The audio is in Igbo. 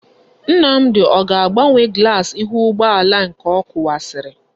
Nnamdi o ga-agbanwe glass ihu ugboala nke o kuwasiri?